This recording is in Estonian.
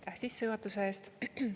Aitäh sissejuhatuse eest!